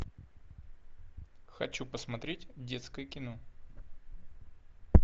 хочу посмотреть детское кино